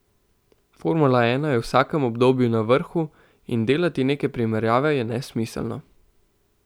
Formula ena je v vsakem obdobju na vrhu in delati neke primerjave je nesmiselno.